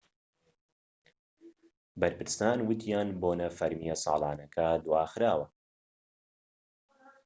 بەرپرسان وتیان بۆنە فەرمیە ساڵانەکە دواخراوە